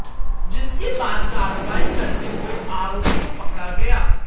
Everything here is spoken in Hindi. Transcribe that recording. जिसके बाद कार्रवाई करते हुए आरोपी को पकड़ा गया